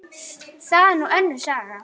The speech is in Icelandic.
Það er nú önnur saga.